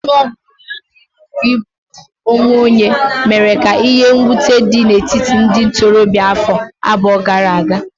Ọnụ ọgụgụ buru ibu nke igbu onwe onye mere ka ihe mwute dị n'etiti ndị ntorobịa afọ abụọ gara aga.